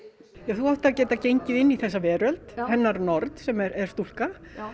þú átt að geta gengið inn í þessa veröld hennar nord sem er stúlka